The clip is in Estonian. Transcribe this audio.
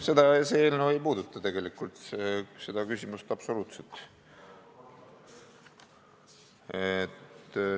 See eelnõu ei puuduta tegelikult seda küsimust absoluutselt.